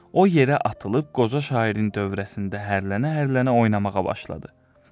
O yerə atılıb qoca şairin dövrəsində hərlənə-hərlənə oynamağa başladı.